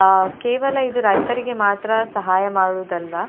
ಅಹ್ ಕೇವಲ ಇದು ರೈತರಿಗೆ ಮಾತ್ರ ಸಹಾಯ ಮಾಡುವುದಲ್ಲ.